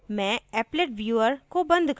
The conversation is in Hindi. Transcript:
मैं appletviewer को बंद करती हूँ